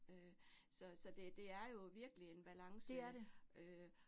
Øh så så det det er jo virkelig en balance øh